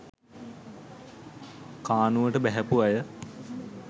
කානුවට බැහැපු අය